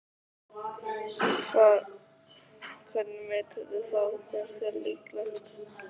Hvernig meturðu það, finnst þér líklegt?